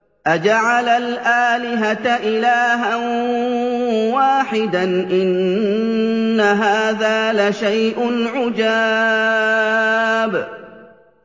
أَجَعَلَ الْآلِهَةَ إِلَٰهًا وَاحِدًا ۖ إِنَّ هَٰذَا لَشَيْءٌ عُجَابٌ